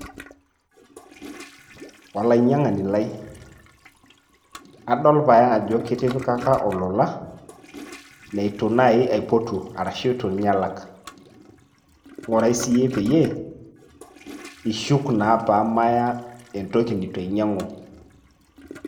Olainyang'ani lai, adol pae ajo kitipikaka olola leitu nai aipotu arashu itu nye alak. Ng'urai siyie peyie, ishuk naa pamaya entoki neitu ainyang'u.